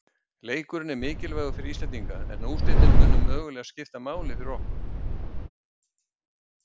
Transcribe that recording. Leikurinn er mikilvægur fyrir Íslendinga, en úrslitin munu mögulega skipta máli fyrir okkur.